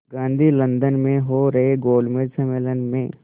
Gandhi London में हो रहे गोलमेज़ सम्मेलन में